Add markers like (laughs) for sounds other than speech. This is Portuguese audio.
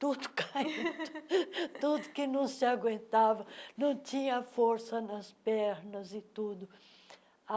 tudo caindo, (laughs) tudo que não se aguentava, não tinha força nas pernas e tudo.